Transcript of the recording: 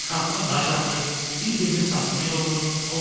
Uşaqlar daş atır, bir-birinin saçını yolur.